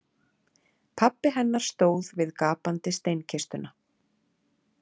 Pabbi hennar stóð við gapandi steinkistuna.